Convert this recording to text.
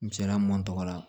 Misaliya mun tɔgɔ la